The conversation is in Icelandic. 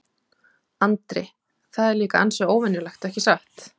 Andri: Það er líka ansi óvenjulegt, ekki satt?